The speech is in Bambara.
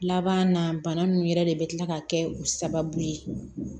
Laban na bana nunnu yɛrɛ de bi kila ka kɛ u sababu ye